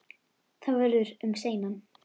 Það verður um seinan.